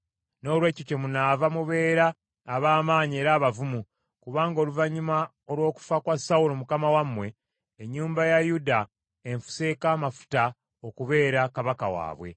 Noolwekyo kyemunaava mubeera ab’amaanyi era abavumu, kubanga oluvannyuma olw’okufa kwa Sawulo mukama wammwe, ennyumba ya Yuda enfuseeko amafuta okubeera kabaka waabwe.”